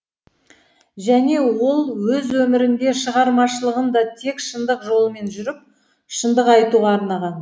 және ол өз өмірін де шығармашылығын да тек шындық жолымен жүріп шындық айтуға арнаған